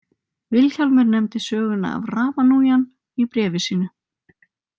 Vilhjálmur nefndi söguna af Ramanujan í bréfi sínu.